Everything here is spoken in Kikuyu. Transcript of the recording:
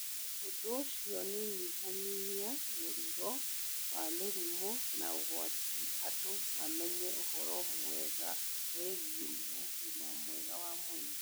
Ũndũ ũcio nĩ ũnyihanyihia mũrigo wa mĩrimũ na ũgatũma andũ mamenye ũhoro wĩgiĩ ũgima mwega wa mwĩrĩ.